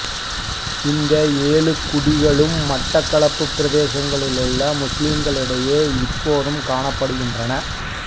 இந்த ஏழு குடிகளும் மட்டக்களப்பு பிரதேசத்திலுள்ள முஸ்லிம்களிடையே இப்போதும் காணப்படுகின்றன